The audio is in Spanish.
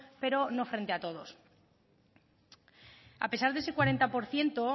pero no frente a todos a pesar de ese cuarenta por ciento